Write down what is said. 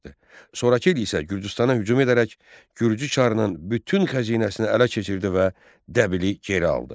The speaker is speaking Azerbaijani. Sonrakı il isə Gürcüstana hücum edərək Gürcü çarının bütün xəzinəsini ələ keçirdi və Dəbili geri aldı.